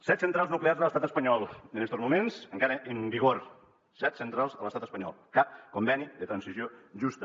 set centrals nuclears de l’estat espanyol en estos moments encara en vigor set centrals a l’estat espanyol cap conveni de transició justa